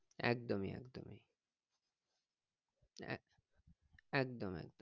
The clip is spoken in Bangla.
একদমই একদমই একদম একদম একদম